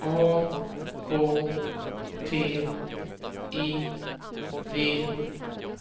A K T I V